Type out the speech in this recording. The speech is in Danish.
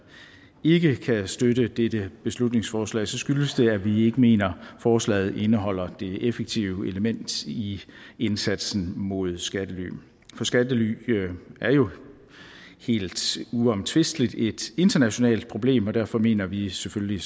ikke kan støtte dette beslutningsforslag skyldes det at vi ikke mener forslaget indeholder det effektive element i indsatsen mod skattely for skattely er jo helt uomtvisteligt et internationalt problem og derfor mener vi selvfølgelig